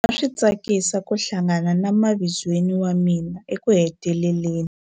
A swi tsakisa ku hlangana na mavizweni wa mina ekuheteleleni.